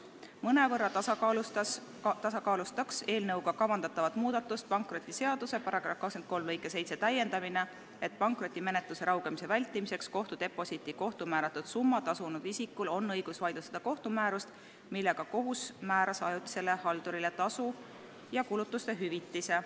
Mõnevõrra tasakaalustaks eelnõuga kavandatavat muudatust pankrotiseaduse § 23 lõike 7 täiendamine, et pankrotimenetluse raugemise vältimiseks kohtudeposiiti kohtu määratud summa tasunud isikul oleks õigus vaidlustada kohtumäärust, millega kohus määras ajutisele haldurile tasu ja kulutuste hüvitise.